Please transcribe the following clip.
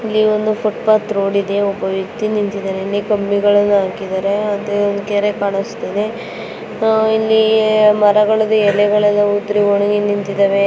ಇಲ್ಲಿ ಒಂದು footpath road ಇದೆ ಒಬ್ಬ ವ್ಯಕ್ತಿ ನಿಂತಿದ್ದಾನೆ ಕಂಬಿಗಳನ್ನು ಹಾಕಿದ್ದಾರೆ ಅದೇ ಒಂದು ಕೆರೆ ಕಾಣಿಸ್ತಾ ಇದೆ ಇಲ್ಲಿ ಮರಗಳ ಎಲೆಗಳೆಲ್ಲ ಉದುರಿ ಒಣಗಿ ನಿಂತಿದವೆ.